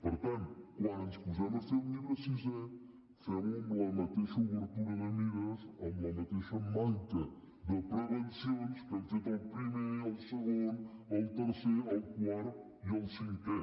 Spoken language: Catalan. per tant quan ens posem a fer el llibre sisè fem ho amb la mateixa obertura de mires amb la mateixa manca de prevencions amb què hem fet el primer el segon el tercer el quart i el cinquè